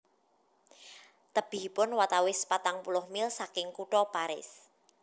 Tebihipun watawis patang puluh mil saking Kutha Paris